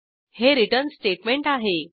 हे return statement आहे